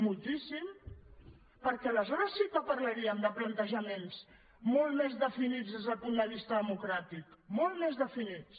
moltíssim perquè aleshores sí que parlaríem de plantejaments molt més definits des del punt de vista democràtic molt més definits